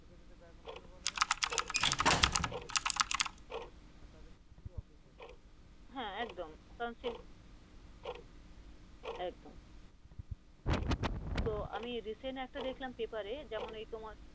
হ্যাঁ একদম, একদম তো আমি recent একটা দেখলাম পেপার এ যেমন এই তোমার